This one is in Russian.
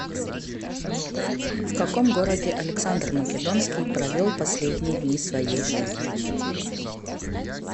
в каком городе александр македонский провел последние дни своей жизни